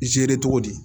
cogo di